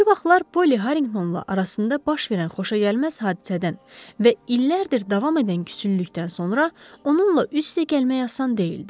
Bir vaxtlar Poli Harriqtonla arasında baş verən xoşagəlməz hadisədən və illərdir davam edən küsünlükdən sonra onunla üz-üzə gəlmək asan deyildi.